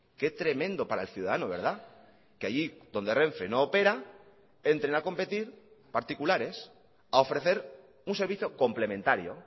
qué tremendo para el ciudadano verdad que allí donde renfe no opera entren a competir particulares a ofrecer un servicio complementario